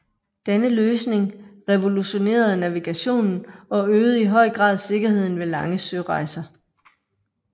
Denne løsning revolutionerede navigationen og øgede i høj grad sikkerheden ved lange sørejser